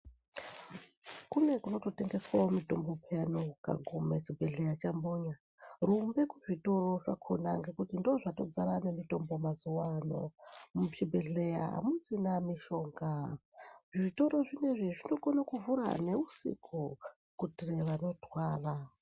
Kune kuno totengeswawo mitombo peyani ukaguma chibhedhlera chambonya. Rumbe kuzvitoro zvakhona ngekuti ndozvatodzara nemitombo mazuwa ano, zvibhedhleya azvichina mishonga. Zvitoro zvinezvi zvinokona kuvhura neusiku kuitira vanorwara.